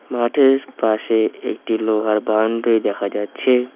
মাঠের পাশে একটি লোহার বাউন্ডারি দেখা যাচ্ছে।